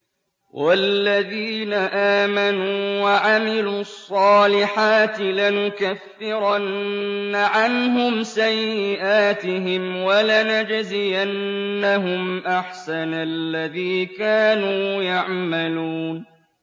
وَالَّذِينَ آمَنُوا وَعَمِلُوا الصَّالِحَاتِ لَنُكَفِّرَنَّ عَنْهُمْ سَيِّئَاتِهِمْ وَلَنَجْزِيَنَّهُمْ أَحْسَنَ الَّذِي كَانُوا يَعْمَلُونَ